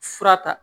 Fura ta